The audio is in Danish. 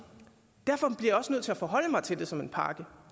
derfor jeg også nødt til at forholde mig til det som en pakke